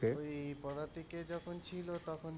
পদাতিকের যখন ছিল তখন,